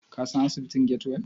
Ka san asibitin Get-well?